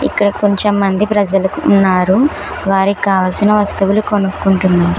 ఇక్కడ కొంచెం మంది ప్రజలు ఉన్నారు వారికి కావాల్సిన వస్తువులు కొనుక్కుంటున్నారు.